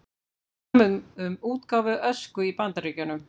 Samið um útgáfu Ösku í Bandaríkjunum